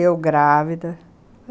Eu grávida.